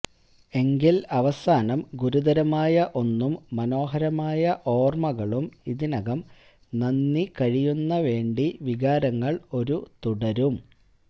എങ്കിൽ അവസാനം ഗുരുതരമായ ഒന്നും മനോഹരമായ ഓർമ്മകളും ഇതിനകം നന്ദി കഴിയുന്ന വേണ്ടി വികാരങ്ങൾ ഒരു തുടരും